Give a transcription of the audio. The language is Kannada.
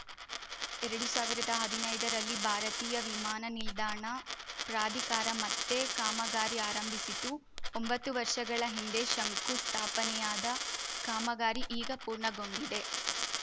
ಎರಡು ಸಾವಿರದ ಹದಿನೈದರಲ್ಲಿ ಭಾರತೀಯ ವಿಮಾನ ನಿಲ್ದಾಣ ಪ್ರಾಧಿಕಾರ ಮತ್ತೆ ಕಾಮಗಾರಿ ಆರಂಭಿಸಿತು ಒಂಬತ್ತು ವರ್ಷಗಳ ಹಿಂದೆ ಶಂಕುಸ್ಥಾಪನೆಯಾದ ಕಾಮಗಾರಿ ಈಗ ಪೂರ್ಣಗೊಂಡಿದೆ